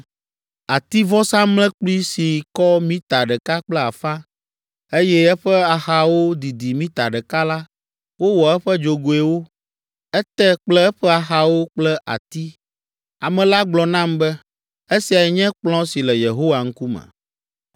Ativɔsamlekpui si kɔ mita ɖeka kple afã, eye eƒe axawo didi mita ɖeka la, wowɔ eƒe dzogoewo, ete kple eƒe axawo kple ati. Ame la gblɔ nam be, “Esiae nye kplɔ̃ si le Yehowa ŋkume.”